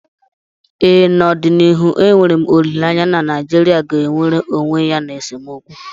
ee, n’ọdịnihu enwere m olileanya na Naijirịa ga-enwere onwe ya n’esemokwu